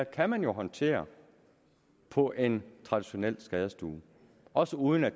kan man jo håndtere på en traditionel skadestue også uden at